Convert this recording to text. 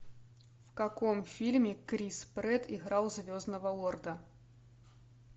в каком фильме крис прэтт играл звездного лорда